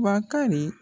Bakari